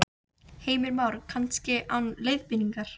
Heimir Már: Kannski án leiðbeiningar?